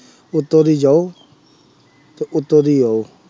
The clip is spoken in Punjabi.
ਉੱਤੋਂ ਦੀ ਜਾਉ ਅਤੇ ਉੱਤੋਂ ਦੀ ਆਉ।